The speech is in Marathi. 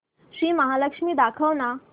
श्री महालक्ष्मी दाखव ना